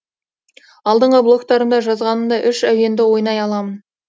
алдыңғы блогтарымда жазғанымдай әуенді ойнай аламын